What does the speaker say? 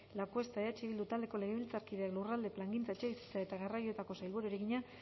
lacuesta eh bildu taldeko legebiltzarkideak lurralde plangintza etxebizitza eta garraioetako sailburuari egina